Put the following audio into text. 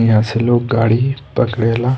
यहाँ से लोग गाड़ी पकड़ेला।